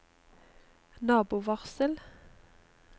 nabovarsel